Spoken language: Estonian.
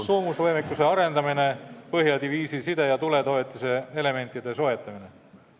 Soomusvõimekuse arendamine, Põhja diviisi side ja tuletoetuse elementide soetamine.